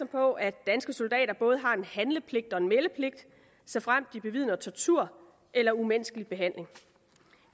på at danske soldater både har en handlepligt og en meldepligt såfremt de bevidner tortur eller umenneskelig behandling